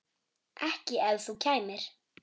Ekki ef þú kæmir.